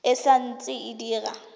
e sa ntse e dira